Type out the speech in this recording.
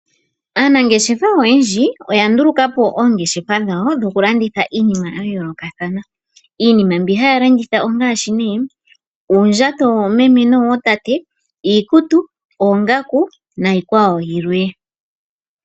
Aanangeshefa oyendji oyanduluka po oongeshefa dhawo dhokulanditha iinima ya yoolokathana. Iinima mbi haya landitha ongaashi nee uundjato woomeme nowootate, iikutu, oongaku niikwawo yilwe.